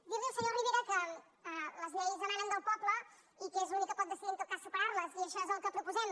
dir li al senyor rivera que les lleis emanen del poble i que és l’únic que pot decidir en tot cas superar les i això és el que proposem